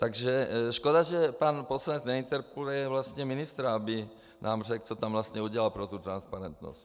Takže škoda, že pan poslanec neinterpeluje vlastně ministra, aby nám řekl, co tam vlastně udělal pro tu transparentnost.